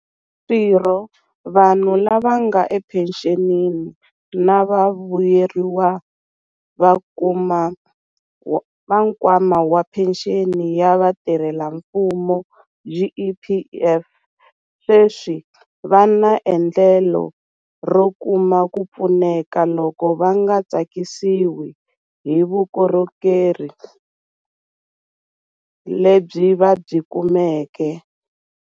Swirho, vanhu lava nga ephenxenini na vavuyeriwa va Nkwama wa Phenxeni ya Vatirhelamfumo, GEPF, sweswi va na endlelo ro kuma ku pfuneka loko va nga tsakisiwi hi vukorhokeri lebyi va byi kumeke.